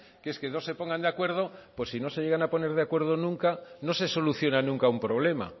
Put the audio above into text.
que es que no se pongan de acuerdo pues si no se llegan a poner de acuerdo nunca no se soluciona nunca un problema